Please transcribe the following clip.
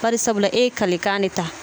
Bari sabula e ye kalekan de ta